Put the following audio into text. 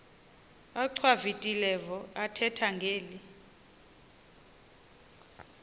achwavitilevo ethetha ngeli